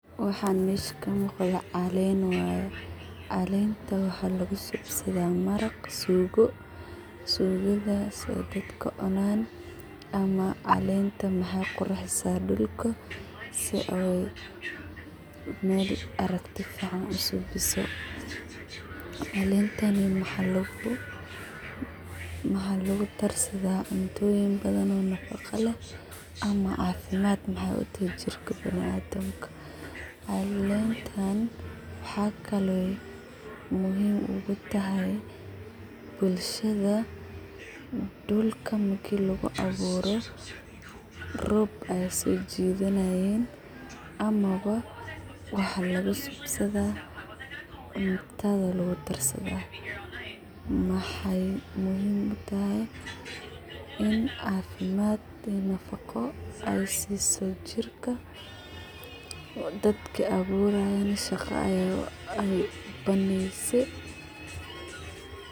Waxan meesha ka mugdo wa caleen. Caleenta waxa lagusubsadha; maraq, sugo. Sugadhaso daadka cunan ama caleenta waxay qurxisa dulka si oo meel arigti ficaan u subiso. Caleentan waxa lagudarsadha cuntoyiin badahan oo nafaqa leeh ama cafimaad maxay u tahy jirka binadimka. Caleentan waxa kale ay muhiim ugutahay bulshada dulka marki lagu abuuro roob ayay sojidhanayin ama waxa lagu subasadha cuntadha lagudarsadha. Maxay muhiim u tahay in cafimaad iyo nafaqo ay siiso jirka, daadka ay aburayeen shaqo u banayse .